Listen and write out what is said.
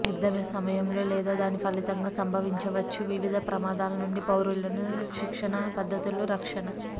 యుద్ధ సమయంలో లేదా దాని ఫలితంగా సంభవించవచ్చు వివిధ ప్రమాదాలు నుండి పౌరులను శిక్షణ పద్దతులు రక్షణ